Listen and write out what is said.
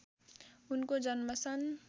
उनको जन्म सन्